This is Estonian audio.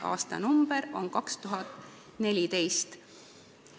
Aastanumber on 2014.